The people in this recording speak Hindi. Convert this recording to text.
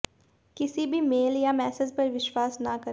किसी भी मेल या मैसेज पर विश्वास ना करें